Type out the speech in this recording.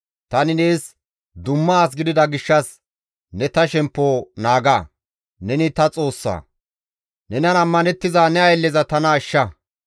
Tani nees dumma as gidida gishshas ne ta shemppo naaga; neni ta Xoossa; nenan ammanettiza ne aylleza tana ashsha.